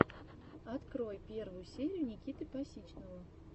открой первую серию никиты пасичного